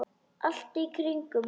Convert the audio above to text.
Allt í kringum það.